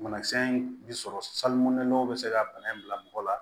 Banakisɛ in bɛ sɔrɔ sali mɛnɛw bɛ se ka bana in bila mɔgɔ la